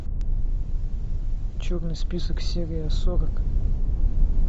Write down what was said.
черный список серия сорок